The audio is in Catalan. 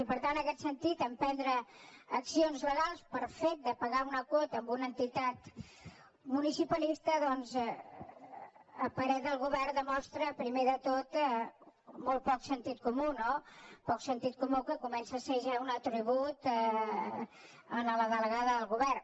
i per tant en aquest sentit emprendre accions legals pel fet de pagar una quota a una entitat municipalista doncs a parer del govern demostra primer de tot molt poc sentit comú no poc sentit comú que comença a ser ja un atribut en la delegada del govern